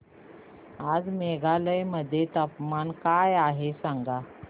आज मेघालय मध्ये तापमान काय आहे सांगा